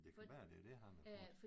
Det kan være det er det han har fået